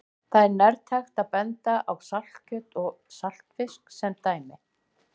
Þar er nærtækt að benda á saltkjöt og saltfisk sem dæmi.